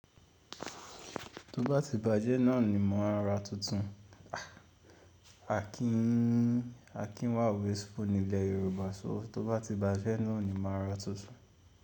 Tó bá ti bàjẹ́ náà ni màá ra tuntun. Akin wa wàsteful ni ilẹ̀ Yorùbá sọ “tó bá ti bàjẹ́ náà ni màá ro tuntun.”